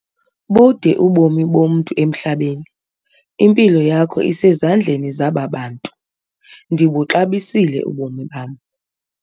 Bude ubomi bomntu emhlabeni. impilo yakho isezandleni zaba bantu, ndibuxabisile ubomi bam